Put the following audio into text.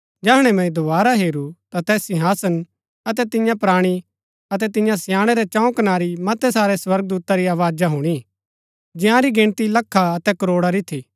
जैहणै मैंई दोवारा हेरू ता तैस सिंहासन अतै तियां प्राणी अतै तियां स्याणै रै चंऊ कनारी मतै सारै स्वर्गदूता री आवाज हुणी जंयारी गिनती लखा अतै करोडा री थी